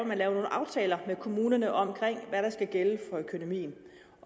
man laver nogle aftaler med kommunerne om hvad der skal gælde